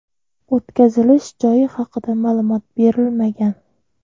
O‘tkazilish joyi haqida ma’lumot berilmagan.